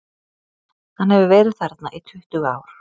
Hann hefur verið þarna í tuttugu ár.